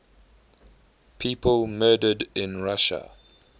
people murdered in russia